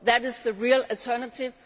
That is the real alternative